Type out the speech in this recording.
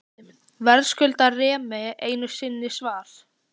Verðskuldar Remi einu sinni svar?